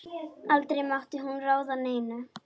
Aldrei mátti hún ráða neinu.